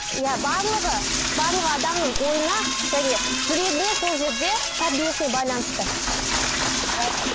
иә барлығы барлығы адамның ойына және жүрегіне сол жерде тәрбиесіне байланысты